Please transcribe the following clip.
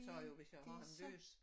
Det det så